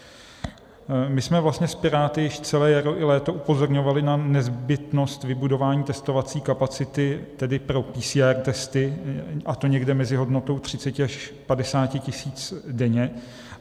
My jsme vlastně s Piráty již celé jaro i léto upozorňovali na nezbytnost vybudování testovací kapacity, tedy pro PCR testy, a to někde mezi hodnotou 30 až 50 tisíc denně.